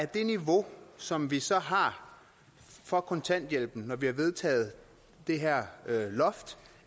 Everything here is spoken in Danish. det niveau som vi så har for kontanthjælpen når vi har vedtaget det her loft